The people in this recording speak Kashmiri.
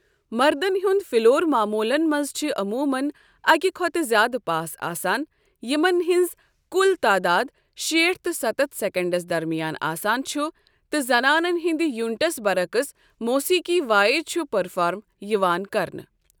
مردن ہنٛد فِلور معموٗلن منٛز چھ عموٗمن اکہ کھۄتہٕ زِیٛادٕ پاس آسان یِمن ہٕنٛز کُل تعداد شیٹھ تہٕ ستتھ سیکنڈس درمیان آسان چھ تہٕ زنانَن ہٕنٛدِ یونٹس برعکس موسیقی وٲے چھُ پرفارم یِوان کرنہٕ۔